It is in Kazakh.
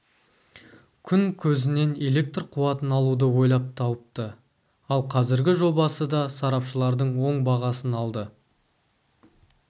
күн көзінен электр қуатын алуды ойлап тауыпты ал қазіргі жобасы да сарапшылардың оң бағасын алды